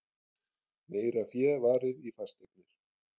Meira fé varið í fasteignir